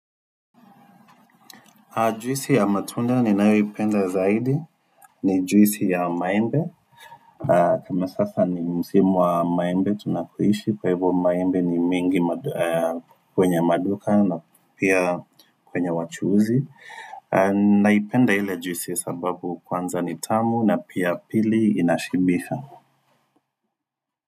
Juisi ya matunda ninayoipenda zaidi. Ni juisi ya maembe. Kama sasa ni msimu wa maembe tunakoishi. Kwa hivyo maembe ni mengi mad kwenye maduka na pia kwenye wachuuzi. Naipenda ile juisi ya sababu kwanza ni tamu na pia pili inashibisha.